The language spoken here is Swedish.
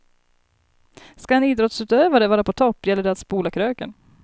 Skall en idrottsutövare vara på topp gäller det att spola kröken.